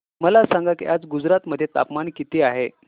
मला सांगा की आज गुजरात मध्ये तापमान किता आहे